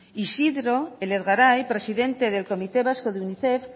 isidro elezgarai presidente del comité vasco de unicef